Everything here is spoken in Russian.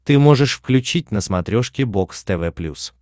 ты можешь включить на смотрешке бокс тв плюс